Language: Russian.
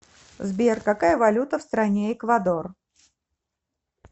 сбер какая валюта в стране эквадор